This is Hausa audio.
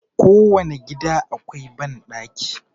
Ko wane gida akwai banɗaki.